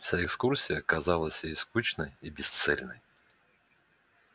вся экскурсия казалась ей скучной и бесцельной